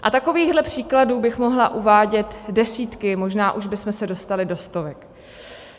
A takových příkladů bych mohla uvádět desítky, možná už bychom se dostali do stovek.